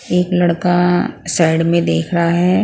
एक लड़का साइड में देख रहा है ।